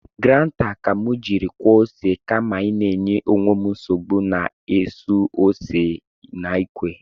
Greta ka m jiri kwọọ ose, kama ịna inye onwe m nsogbu na-esu ose n’ikwe